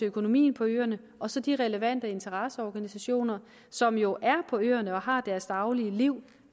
økonomien på øerne og så de relevante interesseorganisationer som jo er på øerne og har deres daglige liv